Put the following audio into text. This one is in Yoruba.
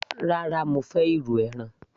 rárá, mo fẹ́ irú ẹran